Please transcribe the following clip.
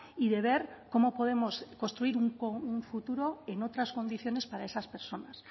y de ver cómo podemos construir un futuro en otras condiciones para esas personas